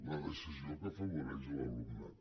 la decisió que afavoreix l’alumnat